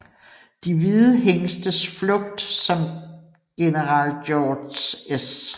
De hvide hingstes flugt som General George S